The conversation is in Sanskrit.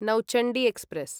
नौचण्डी एक्स्प्रेस्